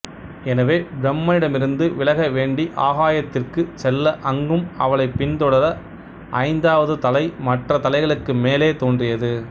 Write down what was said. எனவே பிரம்மனிடமிருந்து விலக வேண்டி ஆகாயத்திற்குச் செல்ல அங்கும் அவளைப் பின்தொடர ஐந்தாவது தலை மற்ற தலைகளுக்கு மேலே தோன்றியது